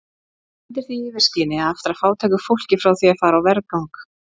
Og undir því yfirskini að aftra fátæku fólki frá því að fara á vergang!